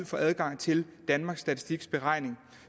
få adgang til danmarks statistiks beregning